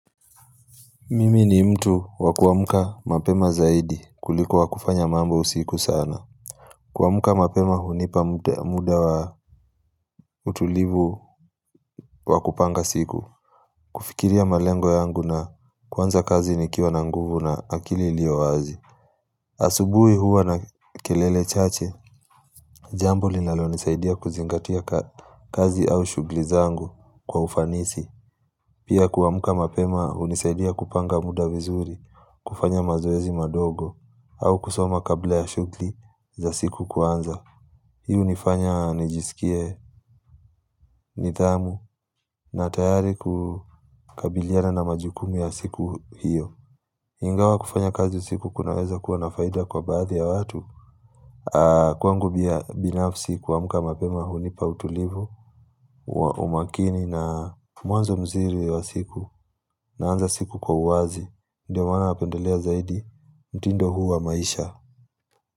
Mimi ni mtu wa kuamka mapema zaidi kuliko wa kufanya mambo usiku sana. Kuamka mapema hunipa muda wa utulivu wa kupanga siku. Kufikiria malengo yangu na kuanza kazi nikiwa na nguvu na akili lilio wazi. Asubuhi huwa na kelele chache, jambo linalonisaidia kuzingatia kazi au shughuli zangu kwa ufanisi. Pia kuamka mapema hunisaidia kupanga muda vizuri, kufanya mazoezi madogo. Au kusoma kabla ya shughuli za siku kuanza. Hii hunifanya, nijisikie, nidhamu, na tayari kukabiliana na majukumu ya siku hiyo. Ingawa kufanya kazi usiku kunaweza kuwa na faida kwa baadhi ya watu. Kwangu binafsi kuamka mapema hunipa utulivu, umakini na mwanzo mzuri wa siku, naanza siku kwa uwazi, ndiyo maana napendelea zaidi, mtindo huu wa maisha.